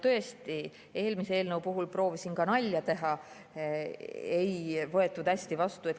Tõesti, eelmise eelnõu puhul proovisin ka nalja teha, aga seda ei võetud hästi vastu.